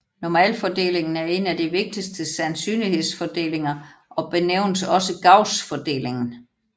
Normalfordelingen er en af de vigtigste sandsynlighedsfordelinger og benævnes også Gaussfordelingen